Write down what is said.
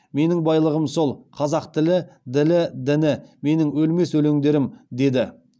менің байлығым сол қазақ тілі ділі діні менің өлмес өлеңдерім деді